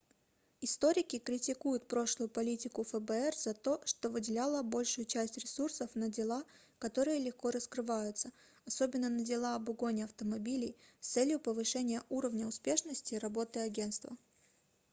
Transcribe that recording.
историки критикуют прошлую политику фбр за то что выделяла большую часть ресурсов на дела которые легко раскрываются особенно на дела об угоне автомобилей с целью повышения уровня успешности работы агентства